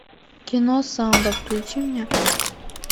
кино самбо включи мне